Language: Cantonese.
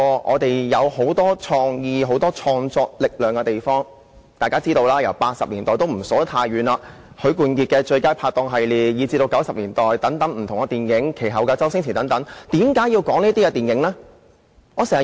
我也不數算太遠的日子，大家也知道 ，1980 年代的電影有許冠傑的"最佳拍檔"系列，及至1990年代有不同的電影，然後就是周星馳的電影。